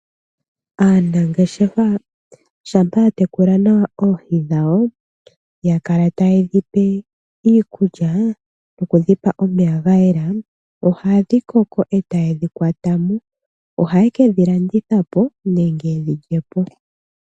Aangeshefa shampa ya tekula nawa oohi dhawo. Yakala ta ye dhi pe iikulya noku dhipa omeya gayela. Ohadhi koko ee ta ye dhi kwatamo. Ohaye kedhi landitha po, nenge ye dhi lyepo.